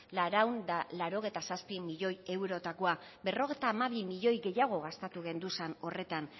laurehun eta laurogeita zazpi milioi eurotakoa berrogeita hamabi milioi gehiago gastatu genduzan horretan